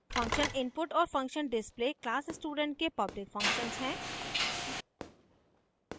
function input और function display class student के public functions हैं